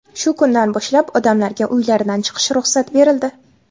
Shu kundan boshlab odamlarga uylaridan chiqish ruxsat berildi.